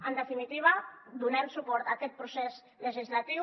en definitiva donem suport a aquest procés legislatiu